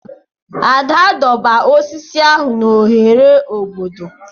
Ada doberr osisi ahụ n'ohere obodo.